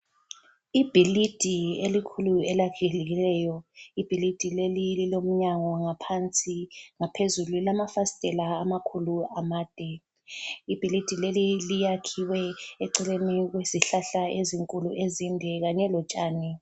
Ibhilidi elikhulu elakhekileyo. Ibhilidi leli lilomnyango ngaphansi ngaphezulu lilamafasitela amakhulu amade. Ibhilidi leli liyakhiwe eceleni kwezihlahla ezinkulu ezinde kanye lotshani.